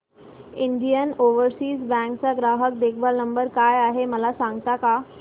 Indian overseas bank चा ग्राहक देखभाल नंबर काय आहे मला सांगता का